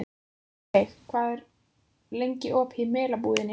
Aðalveig, hvað er lengi opið í Melabúðinni?